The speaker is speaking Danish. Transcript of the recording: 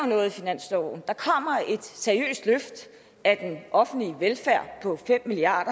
noget i finansloven der kommer et seriøst løft af den offentlige velfærd på fem milliard